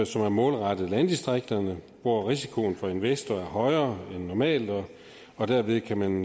som er målrettet landdistrikterne hvor risikoen for en investor er højere end normalt og derved kan man